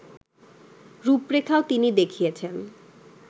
রূপরেখাও তিনি দেখিয়েছেন